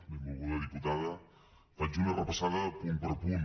benvolguda diputada faig una repassada punt per punt